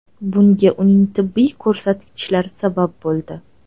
Bunga uning tibbiy ko‘rsatkichlari sabab bo‘ldi.